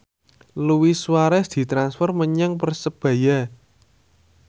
Luis Suarez ditransfer menyang Persebaya